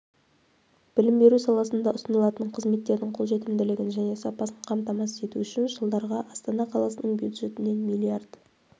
білім беру саласында ұсынылатын қызметтердің қолжетімділігін және сапасын қамтамасыз ету үшін жылдарға астана қаласының бюджетінен млрд